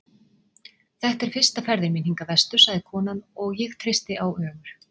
Þetta er fyrsta ferðin mín hingað vestur, sagði konan, og ég treysti á Ögur.